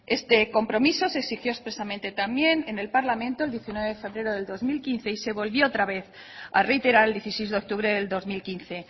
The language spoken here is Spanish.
este compromiso se exigió expresamente también en el parlamento el diecinueve de febrero del dos mil quince y se volvió otra vez a reiterar el dieciséis de octubre del dos mil quince